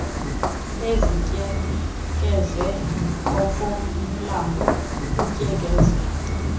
zimtyekeze okomlambo utyekeza